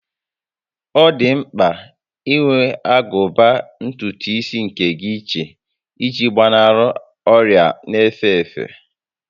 Ọ dị mpka inwe agụba ntùtù isi nke gị iche iji gbanarị ọrịa n'efe efe